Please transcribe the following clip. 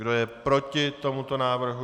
Kdo je proti tomuto návrhu?